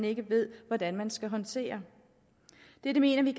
ikke ved hvordan de skal håndtere det mener vi